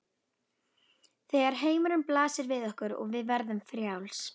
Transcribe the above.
Þegar heimurinn blasir við okkur og við verðum frjáls.